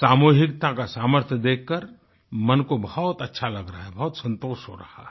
सामूहिकता का सामर्थ्य देखकरमन को बहुत अच्छा लग रहा है बहुत संतोष हो रहा है